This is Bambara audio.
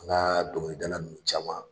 An ka dɔnkili dala ninnu caman.